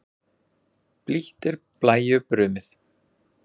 Blítt er blæju brumið.